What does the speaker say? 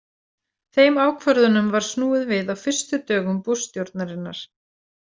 Þeim ákvörðunum var snúið við á fyrstu dögum Bush- stjórnarinnar.